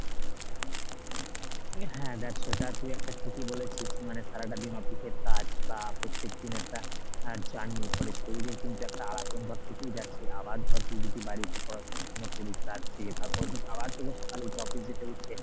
হ্যাঁ দেখ সেটা তুই একটা ঠিকই বলেছিস মানে সারাটা দিন office এর কাজ বা প্রত্যেকদিন একটা আহ journey র পরে শরীরের কিন্তু একটা থেকেই যাচ্ছে আবার ধর তুই যদি বাড়ি এসে পড়াশুনো করিস রাত জেগে তার পরের দিন আবার তোকে সকালে উঠে office যেতে হচ্ছে